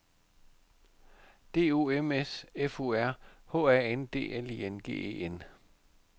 D O M S F O R H A N D L I N G E N